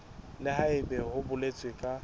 le haebe ho boletswe ka